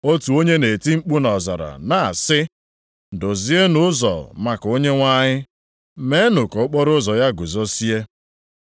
“Otu onye na-eti mkpu nʼọzara, na-asị, ‘Dozienụ ụzọ maka Onyenwe anyị, meenụ ka okporoụzọ ya guzozie.’ ”+ 1:3 \+xt Aịz 40:3\+xt*